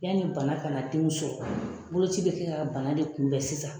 Yanni bana kana denw sɔrɔ, boloci bɛ kɛ ka bana de kunbɛn sisan